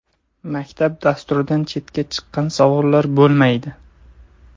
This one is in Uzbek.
Maktab dasturidan chetga chiqqan savollar bo‘lmaydi.